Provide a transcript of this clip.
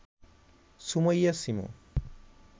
Sumaiya Shimu